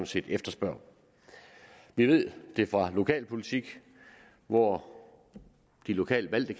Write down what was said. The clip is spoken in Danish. set efterspørger vi ved det fra lokalpolitik hvor de lokalt valgte